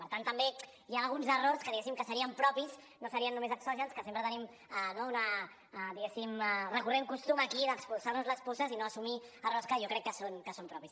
per tant també hi ha alguns errors que diguéssim que serien propis no serien només exògens que sempre tenim no una diguéssim recurrent costum aquí d’expulsar nos les puces i no assumir errors que jo crec que són propis